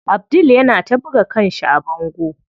Abdul yana ta buga kanshi a bango.